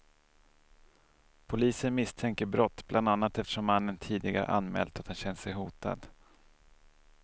Polisen misstänker brott, bland annat eftersom mannen tidigare anmält att han känt sig hotad.